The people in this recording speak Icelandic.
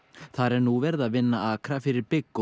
þar er nú verið að vinna akra fyrir bygg og